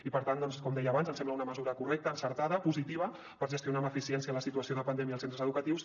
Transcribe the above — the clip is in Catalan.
i per tant com deia abans ens sembla una mesura correcta encertada positiva per gestionar amb eficiència la situació de pandèmia als centres educatius